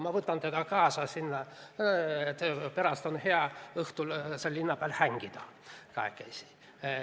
Ma võtan tema sinna kaasa, õhtuti on hea seal linna peal kahekesi hängida.